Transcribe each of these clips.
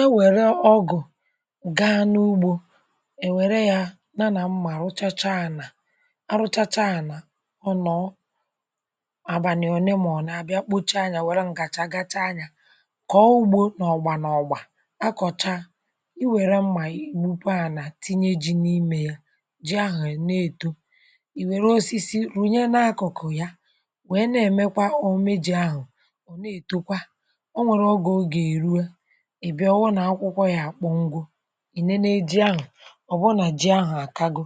È wère ọgụ̀ gaa n’ugbȯ, e wère ya na nà m̀ma, rụchacha ànà. A rụchacha ànà, ọ nọọ àbànị̀ òne mọ̀na, bịa kpocha anyȧ, um wère ǹkàchà, gacha anya, kọ̀ọ ugbȯ n’ọgbà n’ọ̀gbà, akọ̀cha. I wère mmà, i bukwa ànà, tinye ji n’imė ya. Ji ahụ̀ ya na-èto, ì wère osisi rùnye n’akụ̀kụ̀ ya, wèe na-èmekwa o meji̇ ahụ̀. um Ọ̀ na-ètokwa, ị bịa ọwanù, akwụkwọ ya àkpọ ngȯ, ị nene eji ahụ̀ ọ̀ bụ nà ji ahụ̀ àkago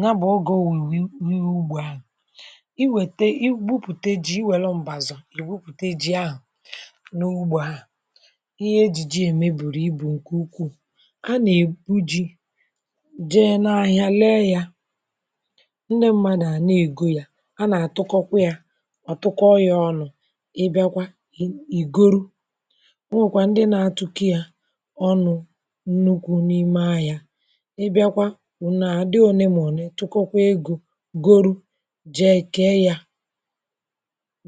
ǹya. Bụ̀ ogė o nwèwì n’ugbȯ ahụ̀, i wète, i gwupùte ji. I wèle mbàzò̀, i gwupùte ji ahụ̀ n’ugbȯ ahụ̀. um Ihe ejìji ème bùrù ibù ǹkè ukwuù, a nà-ebu ji jee n’ahịa, lee ya. Ndị mmadù à na-ègo yȧ, a nà-àtụkọkwà yȧ, ọ̀tụkọ yȧ ọnụ̇. Ị bịakwa, ì ìgoro ọnụ̇ nnukwu n’ime anya, um ị bịakwa wùna àdị olemone, tụkọkwa egȯ, goro, jee kee ya.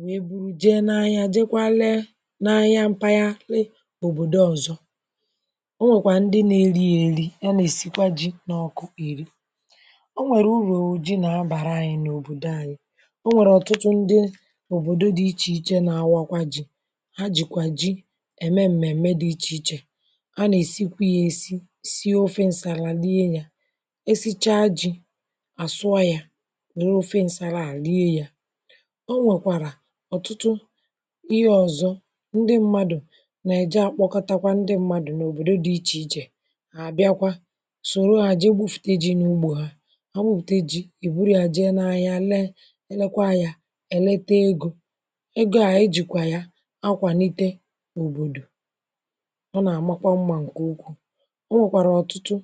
Nwe buru jee n’ahịa, jeekwa lee n’ahịa mpaghara òbòdò ọzọ. O nwèkwà ndị na-eri ya, eri ya na-esikwa ji n’ọkụ, iri. um O nwèrè uru o ji na-abàra anyị n’òbòdò anyị. O nwèrè ọtụtụ ndị òbòdo dị ichè ichè nà-awakwa ji. Ha nà èsikwa ya, èsi si ofe ǹsàrà, lilee yȧ. Esichaa jì, àsụa yȧ, um nwere ofe ǹsàrà àlie yȧ. O nwèkwàrà ọ̀tụtụ ihe ọ̀zọ, ndị mmadụ̀ nà-èji akpọkọtakwa ndị mmadụ̀ n’òbòdo dị̇ ichè ichè. Àbịakwa sòro hà, jee gbu̇fùtė ji̇ n’ugbȯ ha. Ha gbupùteji̇, ìburu yȧ, jee n’ahịa, lee, elekwa ya, èlete egȯ. um Egȯ ànyị jìkwà ya akwàlite, ọ nà-àmakwa mmȧ ǹkè ụkwụ̇. Ọ nwèkwàrà ọ̀tụtụ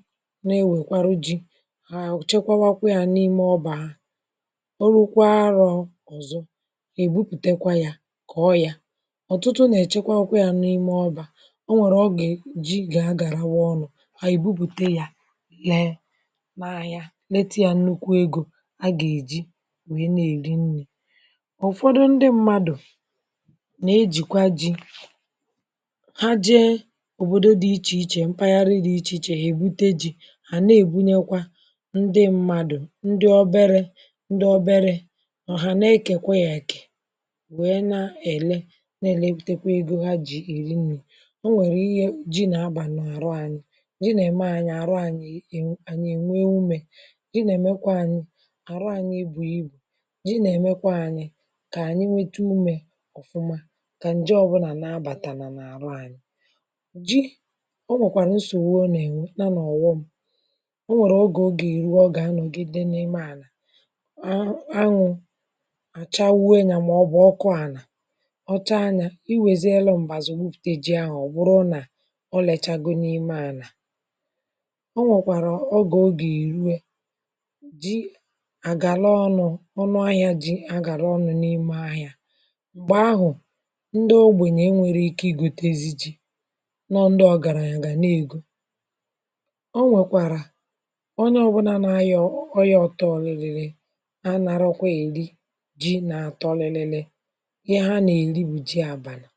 na-ewèkwara ji, haà chekwawakwe yȧ n’ime ọbà ha. Ọrụkwa arọ̇ ọ̀zọ, èbupùtekwa yà, kà ọ yȧ. um Ọ̀tụtụ nà-èchekwawakwe yȧ n’ime ọbà, onwèrè ọ gà-èji gà-agàràwa ọnụ̇ ha. Èbupùtekwa yȧ, nẹẹ n’ahịa, nẹtụ yȧ nnukwu egȯ. A gà-èji nwẹ nà èrịnnyẹ. um Ụ̀fọdụ ndị mmadụ̀ nà-ejìkwa ji òbodò dị ichè ichè, mpaghara dị ichè ichè, ha èbute ji̇. Ha na-èbunyekwa ndị mmadụ̀, ndị obere, ndị obere ọ̀ hà na-ekèkwe ya, èkè wèe na-èle, um na-èlebùtèkwe egȯ ha, jì èri nni̇. Ọ nwèrè ihe jì na-abà n’àrụ anyị, jì nà-ème anyị àrụ. Anyị ànyị ìnwe umė, jì nà-èmekwa anyị àrụ anyị. Ebùghì ibù, jì nà-èmekwa anyị kà ànyị nwete umė ọ̀fụma, kà ǹje ọbụlà nabàtàlà n’àrụ anyị ji. um O nwèkwàrà nsògbu o nà-ènwe nà n’ọ̀wọ m. O nwèrè ogè, o gà-èruo, gà-anọ̀gide n’ime ànà. Anwụ àchà wue nà, màọbụ̀ ọkụ ànà ọcha anyȧ, iwė zi elu. um M̀bàzà gwupùte ji ahụ̀, ọ bụrụ nà o lèchago n’ime ànà, o nwèkwàrà ogè, o gà-èruwe. Ji àgàla ọnụ̇, ọnụ ahịȧ, ji àgàla ọnụ̇ n’ime ahịȧ. M̀gbè ahụ̀, ndị ogbènyè e nwèrè ike ìgotezi ji, nọọ, ndị ọ̀ gàrà anya, gà n’egȯ. um Ọ nwẹ̀kwàrà ọ n’ọbụnȧ nȧ anya, ọ ọrụ anya, ọtọọlịlịlị. A nà arọkwa èri jị nà atọ ọlịlịlị. Ihe ha nà èri bụ jị abàlà.